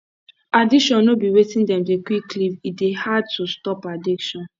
addiction no be wetin dem dey quick leave e dey hard to stop addiction